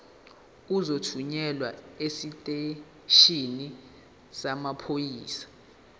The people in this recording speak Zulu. uzothunyelwa esiteshini samaphoyisa